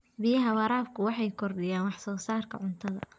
Biyaha waraabku waxay kordhiyaan wax soo saarka cuntada.